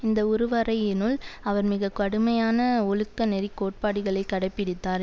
இந்த உருவரையினுள் அவர் மிக கடுமையான ஒழுக்க நெறிக் கோட்பாடுகளை கடைப்பிடித்தார்